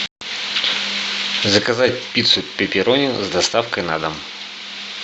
заказать пиццу пепперони с доставкой на дом